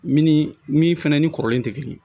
Min ni min fɛnɛ ni kɔrɔlen te kelen ye